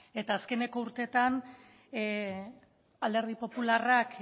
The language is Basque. eta azkeneko urteetan alderdi popularrak